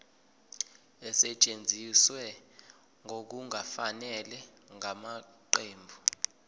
esetshenziswe ngokungafanele ngamaqembu